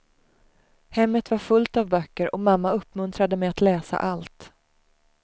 Hemmet var fullt av böcker och mamma uppmuntrade mig att läsa allt.